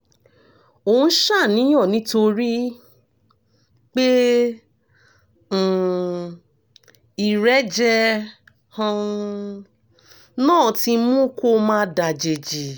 ó ń ṣàníyàn nítorí pé um ìrẹ́jẹ um náà ti mú kó máa dàjèjì